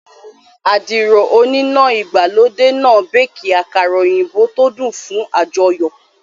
Àdìrò oníná ìgbàlódé náà béékì àkàrà òyìnbó tó dùn fún àjọyọ̀